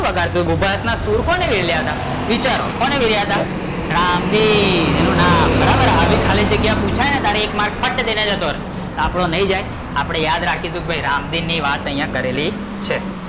કોણ વાગડતુ બીભસના સુર કોને રેલયા હતા? વિચારો કોને વેર્યા હતા? રામદીન? એનું નામ, આવી ખાલી જગ્યા પુછાય ને અટલર એક માર્ક્સ ફટ દઈ ને જતો રહે, તો આપડો નઈ જાય આપડે યાદ રાખીશુ કે ભાઈ રામદીન ની વાત અહીંયા કરેલી છે